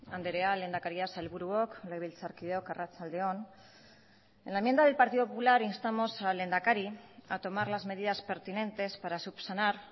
andrea lehendakaria sailburuok legebiltzarkideok arratsalde on en laenmienda del partido popular instamos al lehendakari a tomar las medidas pertinentes para subsanar